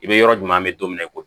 I bɛ yɔrɔ jumɛn bɛ don min na i ko